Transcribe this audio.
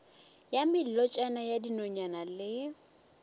ya melotšana ya dinonyane le